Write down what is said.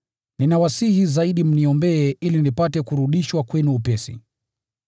Ninawasihi zaidi mniombee ili nipate kurudishwa kwenu upesi.